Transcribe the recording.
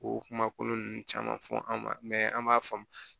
O kuma kolon ninnu caman fɔ an ma an b'a faamu